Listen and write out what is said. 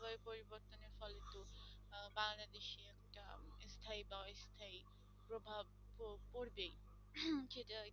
স্থায়ী বা অস্থায়ী প্রভাব তো পড়বেই সেটা